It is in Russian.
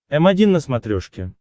м один на смотрешке